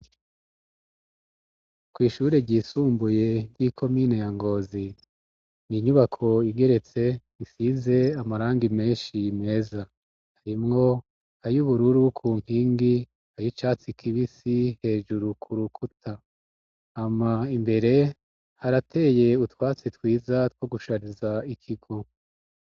Kw'ishure ryisumbuye ry'iko mine yangozi ni inyubako igeretse isize amaranga imenshi imeza arimwo ayi ubururu ku mpingi ayo icatsi kibisi hejuru ku rukuta ama imbere harateye utwatsi w twiza two gushariza ikigo.